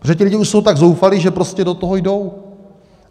Protože ty lidi už jsou tak zoufalí, že prostě do toho jdou.